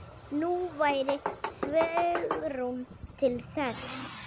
Nú væri svigrúm til þess.